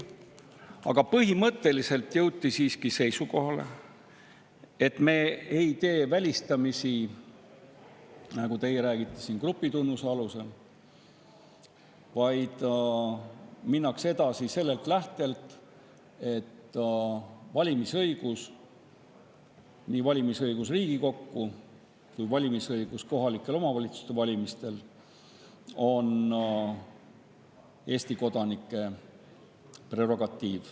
Aga põhimõtteliselt jõuti siiski seisukohale, et me ei tee välistamisi, nagu teie siin räägite, grupitunnuse alusel, vaid edasi minnakse sellest lähtudes, et valimisõigus, nii valimisõigus Riigikogu kui ka kohaliku omavalitsuse valimistel on Eesti kodanike prerogatiiv.